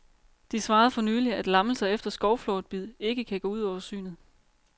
De svarede for nylig, at lammelser efter skovflåtbid ikke kan gå ud over synet.